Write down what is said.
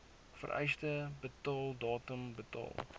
vereiste betaaldatum betaal